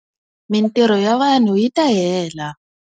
Mitirho ya vanhu yi ta hela.